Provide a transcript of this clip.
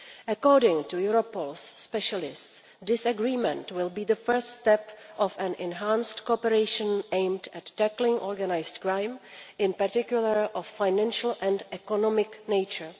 According to Europol specialists, this agreement will be the first step of an enhanced cooperation aimed at tackling organised crime, in particular of a financial and economic nature.